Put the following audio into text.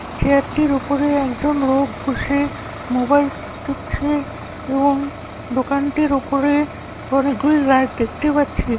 Chair টির উপরে একজন লোক বসে মোবাইল টিপছে এবং দোকানটির উপরে অনেকগুলি লাইট দেখতে পাচ্ছি ।